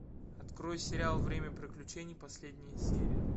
открой сериал время приключений последняя серия